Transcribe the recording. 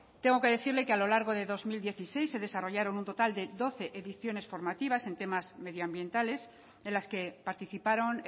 tengo que decirle que a lo largo de dos mil dieciséis se desarrollaron un total de doce ediciones formativas en temas medioambientales de las que participaron